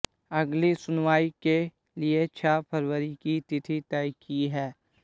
अगली सुनवाई के लिए छह फरवरी की तिथि तय की है